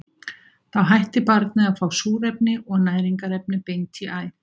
Þá hættir barnið að fá súrefni og næringarefni beint í æð.